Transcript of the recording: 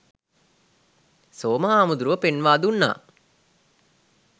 සෝම හාමුදුරුවෝ පෙන්වා දුන්නා.